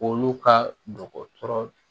Olu ka dɔgɔtɔrɔ